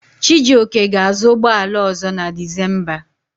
Chijioke ga-azụ ụgbọala ọ̀zọ́ na Dizemba.